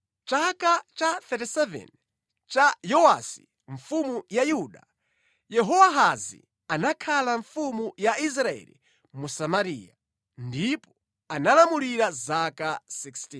Mʼchaka cha 37 cha Yowasi mfumu ya Yuda, Yehowahazi anakhala mfumu ya Israeli mu Samariya, ndipo analamulira zaka 16.